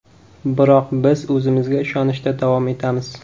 Biroq biz o‘zimizga ishonishda davom etamiz.